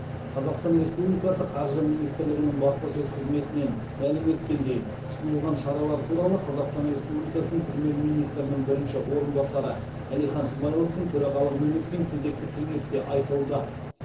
қазақстан республикасы қаржы министрлігінің баспасөз қызметінен мәлім еткендей ұсынылған шаралар туралы қазақстан республикасының премьер министрінің бірінші орынбасары әлихан смайыловтың төрағалығымен өткен кезекті кеңесте айтылды